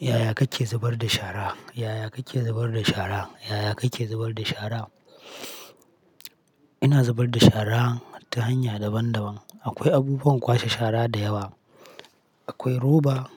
Yaya kake zubar da shara? Yaya kake zubar da shara? Yaya kake zubar da shara? Ina zubar da shara ta hanya daban-daban. Akwai abubuwan kwashe shara da yawa. Akwai roba,